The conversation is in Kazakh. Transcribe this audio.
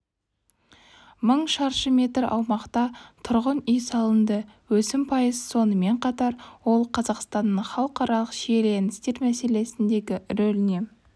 мың шаршы метр аумақта тұрғын-үй салынды өсім пайыз сонымен қатар ол қазақстанның халықаралық шиеленістер мәселесіндегі рөліне